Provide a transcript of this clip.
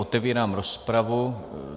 Otevírám rozpravu.